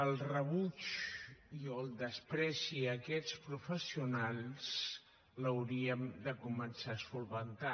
el rebuig i o el menyspreu a aquests professionals l’hauríem de començar a solucionar